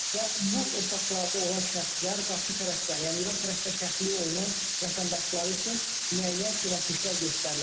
Və bu otaqlarda olan şəxslər qarşı tərəfdən, yəni İran tərəfdən təxliyə olunan vətəndaşları üçün müəyyən köməklik göstərirlər,